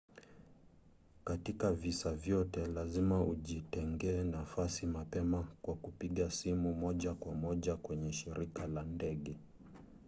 katika visa vyote lazima ujitengee nafasi mapema kwa kupiga simu moja kwa moja kwenye shirika la ndege